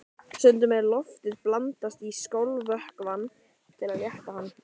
Lára: Og heilbrigðisráðherra hefur tekið ágætlega í þessar hugmyndir ykkar?